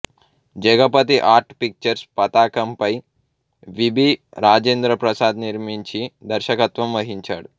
Jagapathi art pictures పతాకంపై V B Rajendra Prasad నిర్మించి దర్శకత్వం వహించాడు